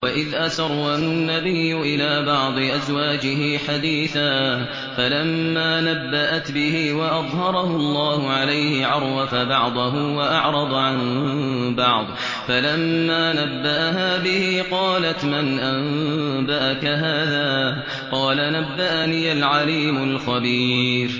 وَإِذْ أَسَرَّ النَّبِيُّ إِلَىٰ بَعْضِ أَزْوَاجِهِ حَدِيثًا فَلَمَّا نَبَّأَتْ بِهِ وَأَظْهَرَهُ اللَّهُ عَلَيْهِ عَرَّفَ بَعْضَهُ وَأَعْرَضَ عَن بَعْضٍ ۖ فَلَمَّا نَبَّأَهَا بِهِ قَالَتْ مَنْ أَنبَأَكَ هَٰذَا ۖ قَالَ نَبَّأَنِيَ الْعَلِيمُ الْخَبِيرُ